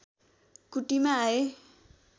कुटीमा आए